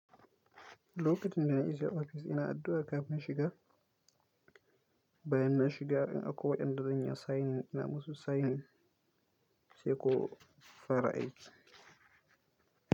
Lokacin da na isa ofis, ina addu’a kafin na shiga. Bayan na shiga, in akwai wa'yanda zan yi wa signing ina musu signing sai ko fara aiki.